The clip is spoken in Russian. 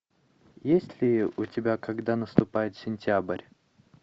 есть ли у тебя когда наступает сентябрь